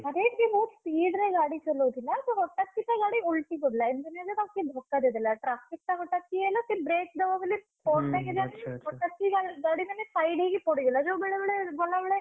ଆରେ ସିଏ ବହୁତ୍ speed ରେ ଗାଡି ଚଳଉଥିଲା ତ ହଠାତ୍ କିନା ତା ଗାଡି ଓଲଟି ପଡିଲା। ଏମତି ନୁହଁ ଯେ ତାକୁ କିଏ ଧକ୍କା ଦେଇଦେଲା। traffic ଟା ହଠାତ୍ ଇଏ ହେଲା ସିଏ break ଦବ ବୋଲି ହଠାତ୍ କି ଗାଡି ମାନେ side ହେଇକି ପଡିଗଲା। ଯୋଉ ବେଳେବେଳେ ଗଲା ବେଳେ।